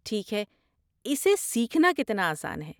ٹھیک ہے، اسے سیکھنا کتنا آسان ہے؟